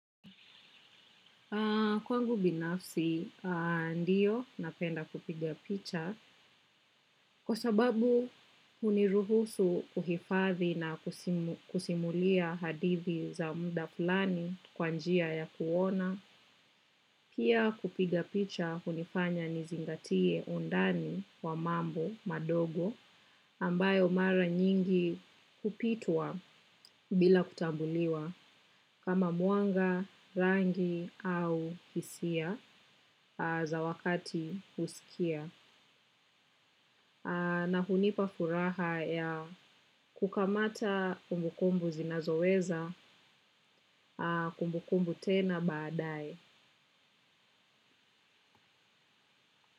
Kwangu binafsi, ndiyo napenda kupiga picha kwa sababu huniruhusu kuhifadhi na kusimulia hadithi za muda fulani kwa njia ya kuona. Pia kupiga picha hunifanya nizingatie undani wa mambo madogo ambayo mara nyingi hupitwa bila kutambuliwa kama mwanga, rangi au hisia za wakati husikia. Na hunipa furaha ya kukamata kumbukumbu zinazoweza tena baadaye.